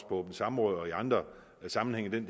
åbne samråd og i andre sammenhænge men